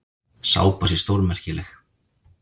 Sápa sé stórmerkileg.